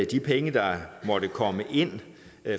de penge der måtte komme ind